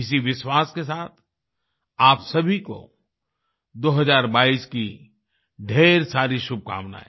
इसी विश्वास के साथ आप सभी को 2022 की ढेर सारी शुभकामनाएं